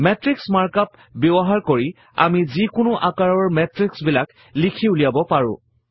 Matrix mark up ব্যৱহাৰ কৰি আমি যিকোনো আকাৰৰ মেত্ৰিক্সবিলাক লিখি ওলিয়াব পাৰো